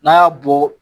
N'a y'a bɔ